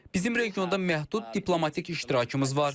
Bizim regionda məhdud diplomatik iştirakımız var.